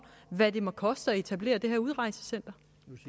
hvad det må koste at etablere det her udrejsecenter